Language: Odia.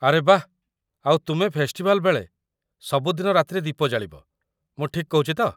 ଆରେ ବାଃ । ଆଉ ତୁମେ ଫେଷ୍ଟିଭାଲ ବେଳେ ସବୁଦିନ ରାତିରେ ଦୀପ ଜାଳିବ, ମୁଁ ଠିକ୍ କହୁଛି ତ?